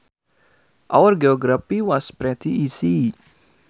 Our geography was pretty easy